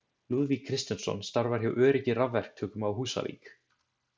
Lúðvík Kristinsson starfar hjá Öryggi rafverktökum á Húsavík.